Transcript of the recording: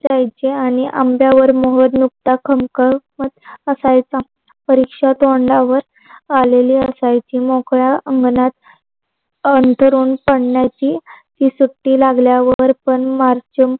त्यांचे आणि आंब्यावर मोहर नुसतत खमकर असायचा परीक्षा तोंडावर आलेली असायची मोकळ्या अंगणात अंतरून पडण्याची ती सुट्टी लागल्यावर पण मारच